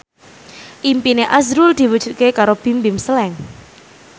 impine azrul diwujudke karo Bimbim Slank